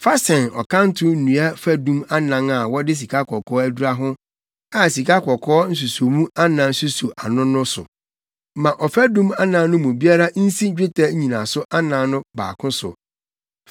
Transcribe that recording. Fa sɛn ɔkanto nnua fadum anan a wɔde sikakɔkɔɔ adura ho a sikakɔkɔɔ nsusomu anan suso ano no so. Ma ɔfadum anan no mu biara nsi dwetɛ nnyinaso anan no baako so.